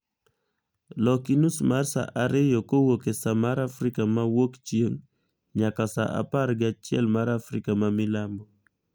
Loki nus mar saa ariyo kowuok e saa mar afrika ma wuokchieng' nyaka saa apar gi achiel mar afrika ma milambo